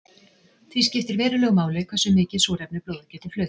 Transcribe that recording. því skiptir verulegu máli hversu mikið súrefni blóðið getur flutt